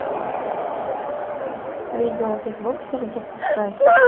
видео кикбоксеры запускай